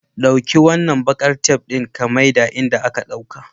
Ɗauki wannan bakar tef ɗin ka miya inda ka dauka.